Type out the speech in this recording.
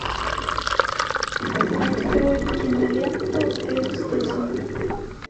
открой киноленту экстази